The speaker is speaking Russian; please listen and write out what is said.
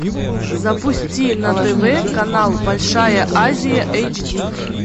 запусти на тв канал большая азия эйч ди